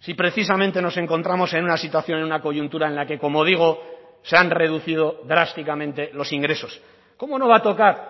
si precisamente nos encontramos en una situación en una coyuntura en la que como digo se han reducido drásticamente los ingresos cómo no va a tocar